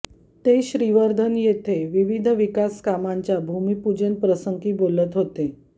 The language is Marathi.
ते श्रीवर्धन येथे विविध विकास कामांच्या भूमिपूजन प्रसंगी बोलत होते